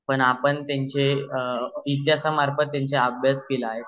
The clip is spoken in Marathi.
पण आपणा त्यांचे इतीहासामार्फत त्यांचा अभ्यास केला आहे